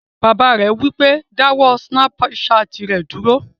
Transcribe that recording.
Bàbá rẹ̀ wí pé, "dáwọ́ sínápù satì rẹ dúró!"